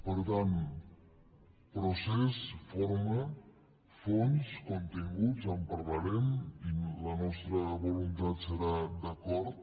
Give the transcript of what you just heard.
per tant procés forma fons continguts en parlarem i la nostra voluntat serà d’acord